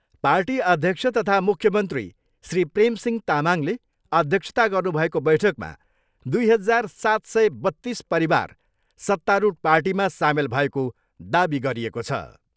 Party अध्यक्ष तथा मुख्यमन्त्री श्री प्रेम सिंह तामाङले अध्यक्षता गर्नुभएको बैठकमा दुई हजार सात सय बत्तिस परिवार सत्तारूढ पार्टीमा सामेल भएको दावी गरिएको छ।